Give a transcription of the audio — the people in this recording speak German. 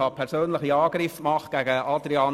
Ich habe Grossrat Adrian Haas persönlich angegriffen.